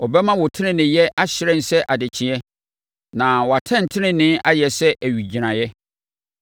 ɔbɛma wo teneneeyɛ ahyerɛn sɛ adekyeeɛ, na wʼatɛntenenee ayɛ sɛ owigyinaeɛ.